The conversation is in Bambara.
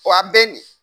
Wa a bɛ nin